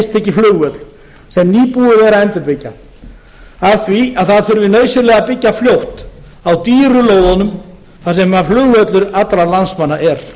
flugvöll sem nýbúið er að endurbyggja af því að það þurfi nauðsynlega að byggja fljótt á dýru lóðunum þar sem flugvöllur allra landsmanna er